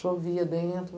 Chovia dentro.